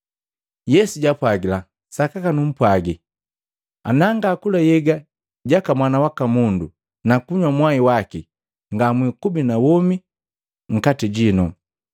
Yesu jaapwagila, “Sakaka numpwaji, nangakula nhyega jaka Mwana waka Mundu na kunywa mwai waki ngamwikubi na womi nkati jino.